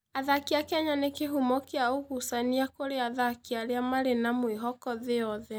Athaki a Kenya nĩ kĩhumo kĩa ũgucania kũrĩ athaki arĩa marĩ na mwĩhoko thĩ yothe.